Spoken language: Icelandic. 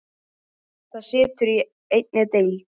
Það situr í einni deild.